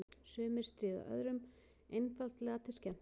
Sumir stríða öðrum einfaldlega til skemmtunar.